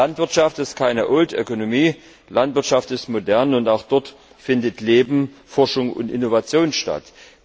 Landwirtschaft ist keine Landwirtschaft ist modern und auch dort findet Leben, Forschung und Innovation statt.